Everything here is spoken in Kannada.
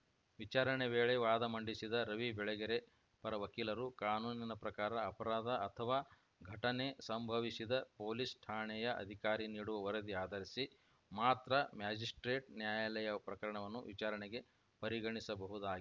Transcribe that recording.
ವಿಚಾರಣೆ ವೇಳೆ ವಾದ ಮಂಡಿಸಿದ ರವಿ ಬೆಳಗೆರೆ ಪರ ವಕೀಲರು ಕಾನೂನಿನ ಪ್ರಕಾರ ಅಪರಾಧ ಅಥವಾ ಘಟನೆ ಸಂಭವಿಸಿದ ಪೊಲೀಸ್‌ ಠಾಣೆಯ ಅಧಿಕಾರಿ ನೀಡುವ ವರದಿ ಆಧರಿಸಿ ಮಾತ್ರ ಮ್ಯಾಜಿಸ್ಪ್ರೇಟ್‌ ನ್ಯಾಯಾಲಯ ಪ್ರಕರಣವನ್ನು ವಿಚಾರಣೆಗೆ ಪರಿಗಣಿಸಬಹುದಾ